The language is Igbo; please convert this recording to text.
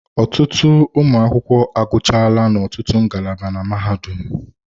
Ọtụtụ ụmụ akwụkwọ agụchaala n'ọtụtụ ngalaba na mahadum